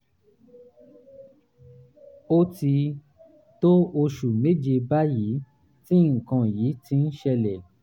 ó ti tó oṣù méje báyìí tí nǹkan yìí ti ń ṣẹlẹ̀